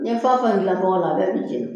N ye fɛ o fɛn dilan bɔgɔ la,a bɛɛ bi jɛni